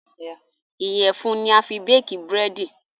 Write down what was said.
Iyẹ̀fun ni a fi béèkí Búrẹ́dì